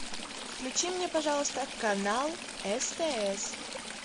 включи мне пожалуйста канал стс